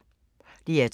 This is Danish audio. DR2